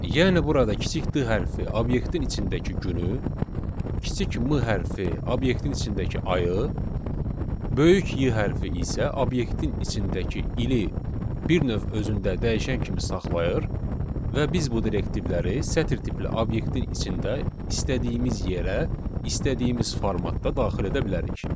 Yəni burada kiçik D hərfi obyektin içindəki günü, kiçik M hərfi obyektin içindəki ayı, böyük Y hərfi isə obyektin içindəki ili bir növ özündə dəyişən kimi saxlayır və biz bu direktivləri sətr tipli obyektin içində istədiyimiz yerə, istədiyimiz formatda daxil edə bilərik.